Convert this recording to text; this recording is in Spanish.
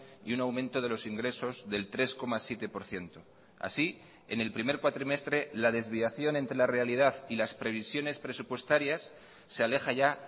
y un aumento de los ingresos del tres coma siete por ciento así en el primer cuatrimestre la desviación entre la realidad y las previsiones presupuestarias se aleja ya